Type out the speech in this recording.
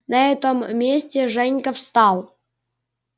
на этом месте женька встал